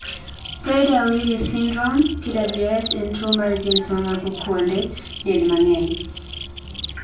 Prader WilliSyndrome(PWS) en tuo mar genes mamako kuonde del mang'eny